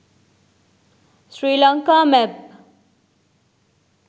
srilanka map